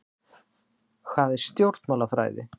Hvað er stjórnmálafræði?